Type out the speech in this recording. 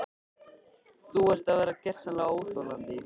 Þú ert að verða gersamlega óþolandi!